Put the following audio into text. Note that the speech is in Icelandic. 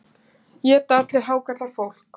Éta allir hákarlar fólk?